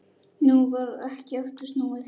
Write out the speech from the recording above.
Nú varð ekki aftur snúið.